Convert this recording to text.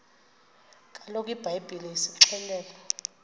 kaloku ibhayibhile isixelela